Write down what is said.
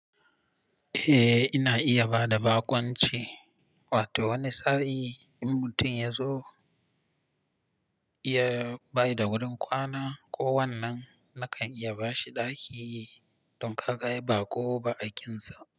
Eh, ina iya bada baƙunci, wato wani sa'i in mutum ya zo ya bayar da wurin kwana ko wannan, nakan iya ba shi ɗaki don ka ga ya baƙo ba aikinsa.